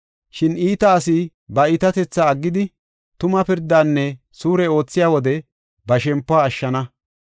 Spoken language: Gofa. Shin iita asi ba iitatethaa aggidi, tuma pirdanne suure oothiya wode ba shempuwa ashshana.